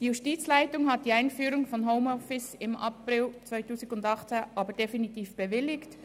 Die Justizleitung hat die Einführung von Homeoffice im April 2018 aber definitiv bewilligt.